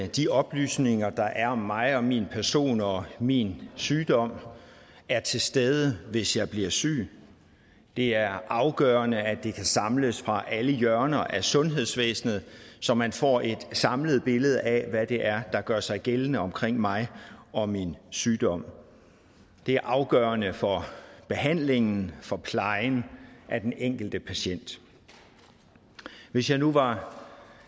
de oplysninger der er om mig og min person og min sygdom er til stede hvis jeg bliver syg det er afgørende at det kan samles fra alle hjørner af sundhedsvæsenet så man får et samlet billede af hvad det er der gør sig gældende omkring mig og min sygdom det er afgørende for behandlingen for plejen af den enkelte patient hvis jeg nu var